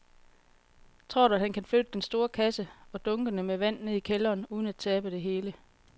Tror du, at han kan flytte den store kasse og dunkene med vand ned i kælderen uden at tabe det hele?